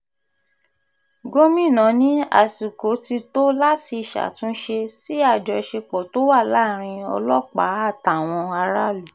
gomina ní àsìkò ti tó láti ṣàtúnṣe sí àjọṣepọ̀ tó wà láàrin ọlọ́pàá àtàwọn aráàlú